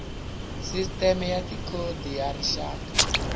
sisiteme ya tikhodi ya rixaka